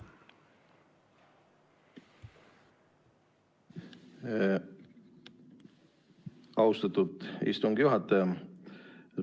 Austatud istungi juhataja!